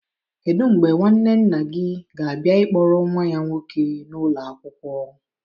Kedu mgbe nwanne nna gị ga-abịa ịkpọrọ nwa ya nwoke n'ụlọ akwụkwọ